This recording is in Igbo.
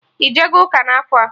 Ijego ụka n'afọ a?